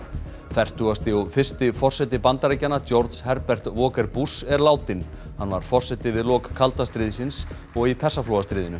fertugasti og fyrsti forseti Bandaríkjanna Herbert Walker Bush er látinn hann var forseti við lok kalda stríðsins og í Persaflóastríðinu